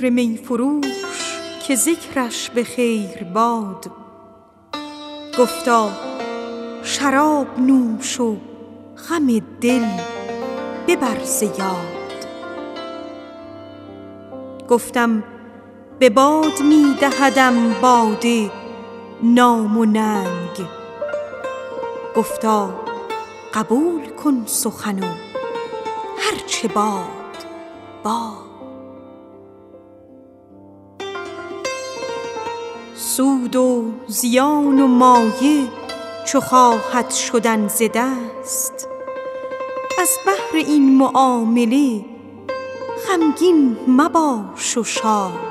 دی پیر می فروش که ذکرش به خیر باد گفتا شراب نوش و غم دل ببر ز یاد گفتم به باد می دهدم باده نام و ننگ گفتا قبول کن سخن و هر چه باد باد سود و زیان و مایه چو خواهد شدن ز دست از بهر این معامله غمگین مباش و شاد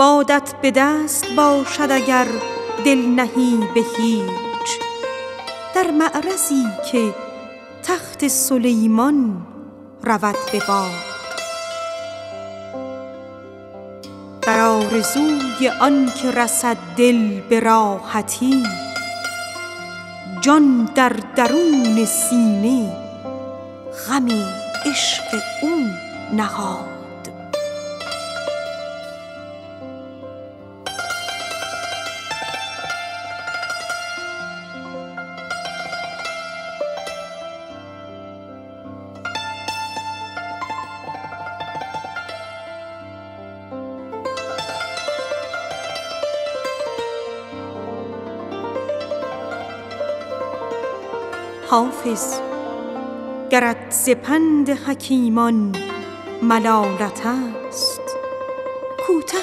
بادت به دست باشد اگر دل نهی به هیچ در معرضی که تخت سلیمان رود به باد حافظ گرت ز پند حکیمان ملالت است کوته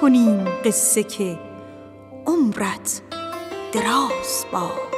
کنیم قصه که عمرت دراز باد